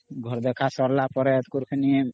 ଘର ଦେଖା ସରିଲାପରେ ଅମ୍